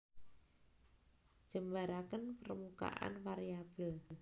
Jembaraken permukaan variabel